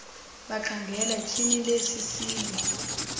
bakhangela tyhiinil sisilo